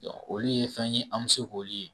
olu ye fɛn ye an bɛ se k'olu ye